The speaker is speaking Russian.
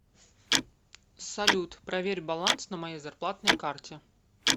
салют проверь баланс на моей зарплатной карте